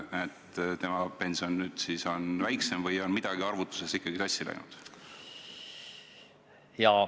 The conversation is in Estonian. Kas tema pension saab teoreetiliselt väiksem olla või on midagi arvutuses ikkagi sassi läinud?